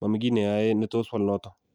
mami kiy ne ayae netos wal notok